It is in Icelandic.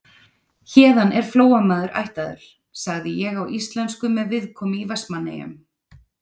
Héðan er Flóamaður ættaður, sagði ég á íslensku með viðkomu í Vestmannaeyjum.